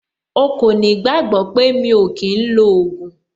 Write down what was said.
O kò ní gbàgbọ́ pé mi ò kí ń lo ògùn.